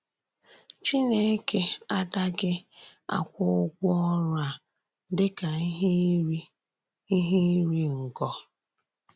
Chìnèkè àdàghị akwụ́ ụ́gwọ́ ọ̀rụ́ a dị́ ka íhè ìrì íhè ìrì ngọ.